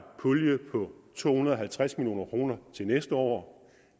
pulje på to hundrede og halvtreds million kroner til næste år